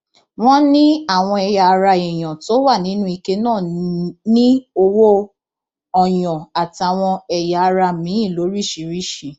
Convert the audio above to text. wọn ní àwọn ẹyà ara èèyàn tó wà nínú ike náà ní owó ọyàn àtàwọn ẹyà ara miín lóríṣìíríṣìí